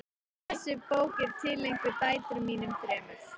Þessi bók er tileinkuð dætrum mínum þremur.